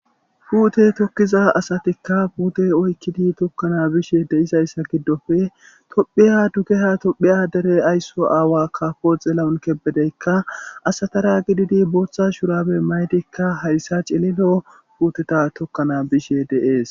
Puute tokkiza asatikka puute oykkidi tokkana bishe deizayssa giddoppe tophphiya dugeha tophphiya dere aysso aawa kaafo xeelawun kebbedeykka asatara gididi booththa shurabe maydikka hayssa cililo puuteta tokkana bishe de'es.